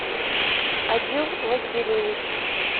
одил васильевич